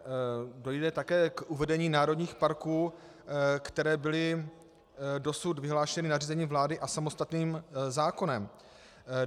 Dojde také k uvedení národních parků, které byly dosud vyhlášeny nařízením vlády a samostatným zákonem.